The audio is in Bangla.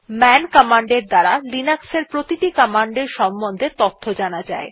মান কমান্ড এর দ্বারা লিনাক্স এর প্রতিটি কমান্ডের সম্বন্ধে তথ্য জানা যায়